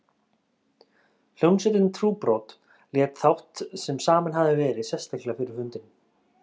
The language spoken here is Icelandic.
Hljómsveitin Trúbrot lék þátt sem saminn hafði verið sérstaklega fyrir fundinn.